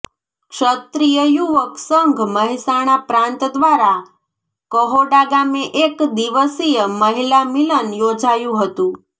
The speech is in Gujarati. ક્ષત્રિય યુવક સંઘ મહેસાણા પ્રાંત દ્વારા કહોડા ગામે એક દિવસીય મહિલા મિલન યોજાયું હતુ